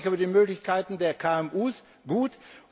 Ich freue mich über die Möglichkeiten der KMU gut.